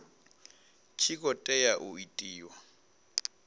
tshi khou tea u itiwa